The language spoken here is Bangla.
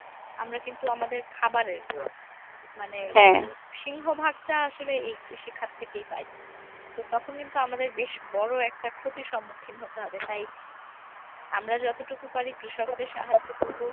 আমরা কিন্তু আমাদের খাবরের মানে সিংহভাগটা আসলে এই কৃষিখাত থেকেই পাই। তো তখন কিন্তু আমাদের বেশ বড় একটা ক্ষতির সম্মুখীন হতে হবে তাই আমরা যতটুকু পারি কৃষকদের সাহায্য করবো।